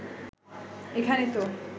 এখানে তো